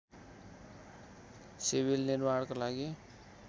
civil निर्माणको लागि